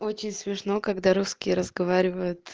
очень смешно когда русские разговаривают